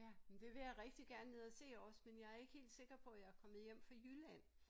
Ja men det vil jeg rigtig gerne ned og se også men jeg er ikke rigtig sikker på at jeg er kommet hjem fra Jylland